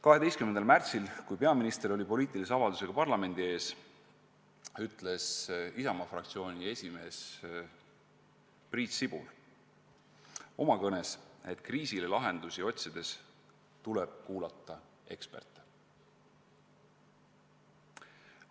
12. märtsil, kui peaminister esines parlamendi ees poliitilise avaldusega, ütles Isamaa fraktsiooni esimees Priit Sibul oma kõnes, et kriisile lahendusi otsides tuleb kuulata eksperte.